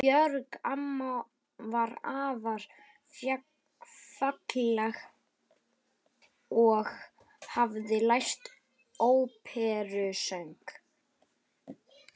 Björg amma var afar falleg og hafði lært óperusöng.